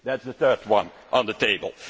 That is the third one on the table.